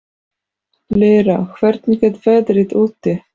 Lýra, hvernig er veðrið úti?